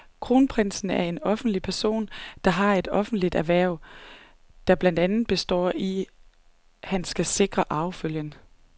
Kronprinsen er en offentlig person, der har et offentligt hverv, der blandt andet består i, at han skal sikre arvefølgen.